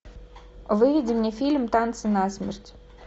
выведи мне фильм танцы на смерть